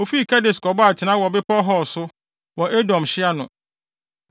Wofii Kades kɔbɔɔ atenae wɔ Bepɔw Hor so, wɔ Edom hye ano.